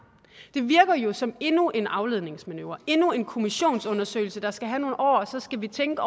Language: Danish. det virker jo som endnu en afledningsmanøvre endnu en kommissionsundersøgelse der skal have nogle år og så skal vi tænke